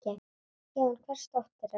Já, en hvers dóttir ertu?